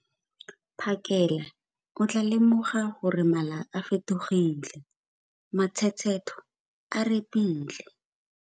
Phakela, o tlaa lemoga gore mmala o fetogile, matshetshetho a repile.